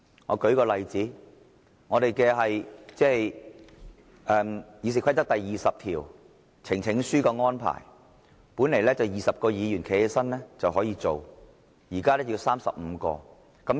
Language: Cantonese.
我舉一個例子，《議事規則》第20條，呈請書的安排，本來20位議員站立便可以成立專責委員會，現在要35位。